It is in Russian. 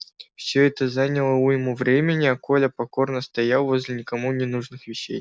всё это заняло уйму времени а коля покорно стоял возле никому не нужных вещей